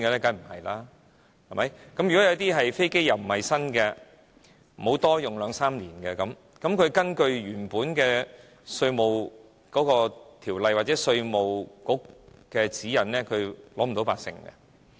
假如那些不是新飛機，每架多用兩三年，根據本來的《稅務條例》或稅務局指引，他們則拿不到八成折舊。